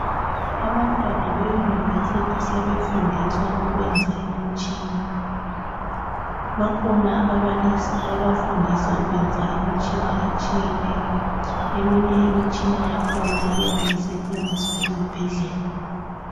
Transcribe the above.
Abantwana be university sebefundiswa ukuyenza imitshina bakhona ababalisi ababafundisa ukuyenza imitshina etshiyeneyo emunye imitshina yakhona iyabe isetshenziswa ezibhedlela